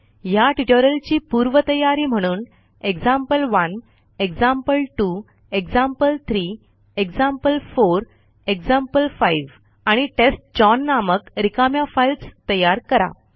ह्या ट्युटोरियलची पूर्वतयारी म्हणून example one example two example three example four example five आणि टेस्टचाउन नामक रिकाम्या फाईल्स तयार करा